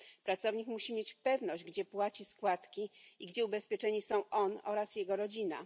Pracownik musi mieć pewność, gdzie płaci składki i gdzie ubezpieczeni są on oraz jego rodzina.